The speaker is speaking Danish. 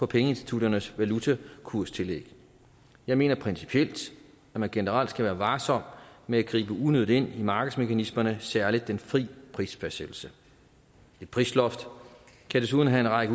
pengeinstitutternes valutakurstillæg jeg mener principielt at man generelt skal være varsom med at gribe unødigt ind i markedsmekanismerne og særlig i den fri prisfastsættelse et prisloft kan desuden have en række